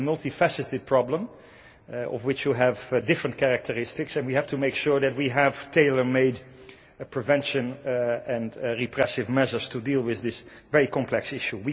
It is a multi faceted problem of which you have different characteristics and we have to make sure that we have tailor made prevention and repressive measures to deal with this very complex issue.